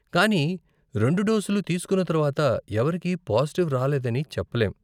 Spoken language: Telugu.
కానీ రెండు డోసులు తీస్కున్న తర్వాత ఎవరికీ పాజిటివ్ రాలేదని చెప్పలేం.